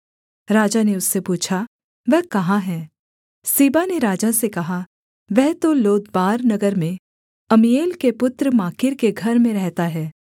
राजा ने उससे पूछा वह कहाँ है सीबा ने राजा से कहा वह तो लोदबार नगर में अम्मीएल के पुत्र माकीर के घर में रहता है